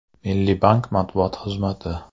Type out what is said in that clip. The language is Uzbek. Milliy bank matbuot xizmati.